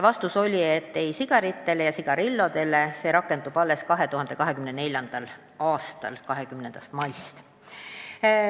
Vastus oli, et sigarite ja sigarillode pakenditele see rakendub 2024. aasta 20. maist.